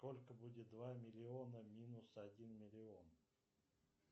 сколько будет два миллиона минус один миллион